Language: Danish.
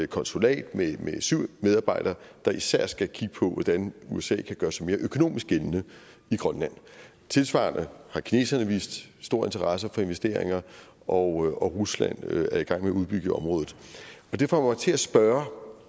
konsulat med syv medarbejdere der især skal kigge på hvordan usa kan gøre sig mere økonomisk gældende i grønland tilsvarende har kineserne vist stor interesse for investeringer og rusland er i gang med at udbygge i området det får mig til at spørge